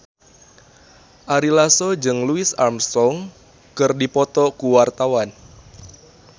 Ari Lasso jeung Louis Armstrong keur dipoto ku wartawan